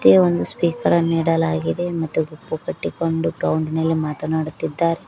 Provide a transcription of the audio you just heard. ಮತ್ತೆ ಒಂದು ಸ್ಪೀಕರ್ ಅನ್ನು ನೀಡಲಾಗಿದೆ ಮತ್ತೆ ಗುಂಪು ಕಟ್ಟಿಕೊಂಡು ಗ್ರೌಂಡ್ ಮೇಲೆ ಮಾತನಾಡುತ್ತಿದ್ದಾರೆ.